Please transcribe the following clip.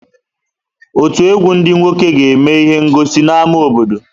Ọtù egwu ndị nwoke ga-eme ihe ngọsi n'ámá obodo.